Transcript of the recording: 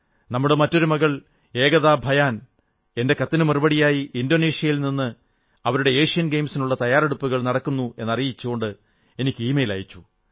നമ്മുടെ മറ്റൊരു മകൾ ഏകതാ ഭയാൻ എന്റെ കത്തിനു മറുപടിയായി ഇന്തോനേഷ്യയിൽ നിന്ന് അവിടെ ഏഷ്യൻ ഗയിംസിനുള്ള തയ്യാറെടുപ്പുകൾ നടക്കുകയാണെന്നറിയിച്ചുകൊണ്ട് എനിക്ക് ഇമെയിലയച്ചു